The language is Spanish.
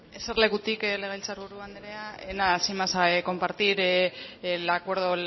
eserlekutik legebiltzar buru anderea nada sin más compartir el acuerdo